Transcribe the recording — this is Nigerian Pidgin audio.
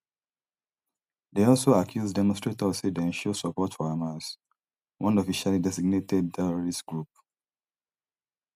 dey also accuse demonstrators say dem show support for hamas one officially designated terrorist group